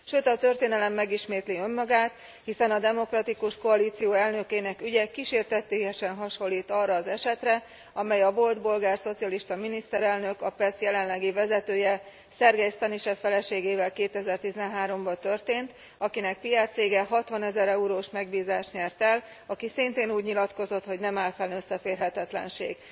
Sőt, a történelem megismétli önmagát, hiszen a Demokratikus Koalíció elnökének ügye kísértetiesen hasonlít arra az esetre, amely a volt bolgár szocialista miniszterelnök, a PES jelenlegi vezetője, Sergei Stanishev feleségével 2013 ban történt, akinek PR cége 60 ezer eurós megbízást nyert el, aki szintén úgy nyilatkozott, hogy nem áll fenn összeférhetetlenség.